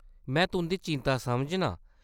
मै तुंʼदी चिंता समझनां ।